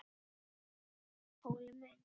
Óli minn!